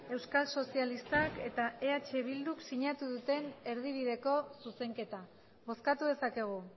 euskal sozialistak eta eh bilduk sinatu duten erdibideko zuzenketa bozkatu dezakegu